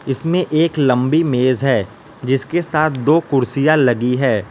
इसमें एक लंबी मेज है जिसके साथ दो कुर्सियां लगी है।